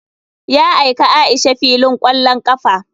Ya aika aisha filin kwallon kafa.